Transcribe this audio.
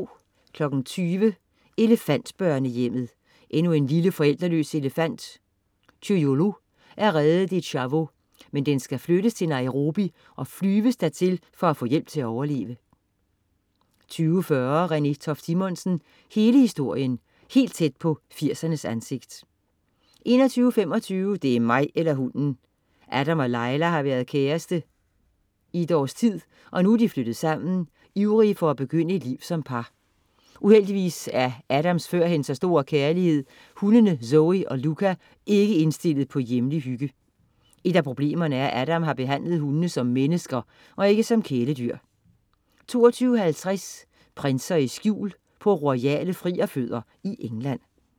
20.00 Elefantbørnehjemmet. Endnu en lille, forældreløs elefant, Chyulu, er reddet i Tsavo, men den skal flyves til Nairobi for at få hjælp til at overleve 20.40 Renée Toft Simonsen, hele historien. Helt tæt på 80'ernes ansigt 21.25 Det er mig eller hunden! Adam og Layla har været kæreste i et års tid, og nu er de flyttet sammen, ivrige for at begynde et liv som par. Uheldigvis er Adams førhen så store kærlighed, hundene Zoe og Luca, ikke indstillet på hjemlig hygge. Et af problemerne er, at Adam har behandlet hundene som mennesker og ikke som kæledyr 22.50 Prinser i skjul. på royale frierfødder i England.